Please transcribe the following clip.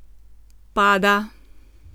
Pada.